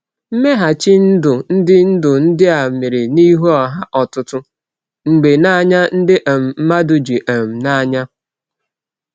Mmeghachi ndụ ndị ndụ ndị a mere n’ihu ọha, ọtụtụ mgbe n’anya ndị um mmadụ ji um n’anya.